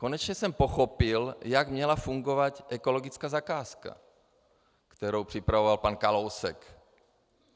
Konečně jsem pochopil, jak měla fungovat ekologická zakázka, kterou připravoval pan Kalousek.